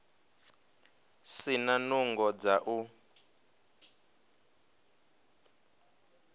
si na nungo dza u